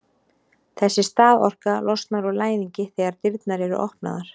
þessi staðorka losnar úr læðingi þegar dyrnar eru opnaðar